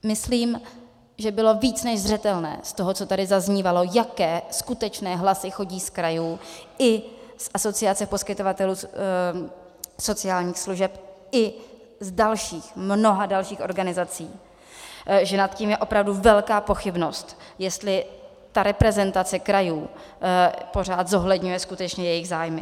Myslím, že bylo více než zřetelné z toho, co tady zaznívalo, jaké skutečné hlasy chodí z krajů i z Asociace poskytovatelů sociálních služeb i z dalších, mnoha dalších organizací, že nad tím je opravdu velká pochybnost, jestli ta reprezentace krajů pořád zohledňuje skutečně jejich zájmy.